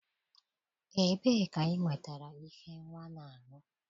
Ebee ka ị nwetara ihe nwa na-aṅụ?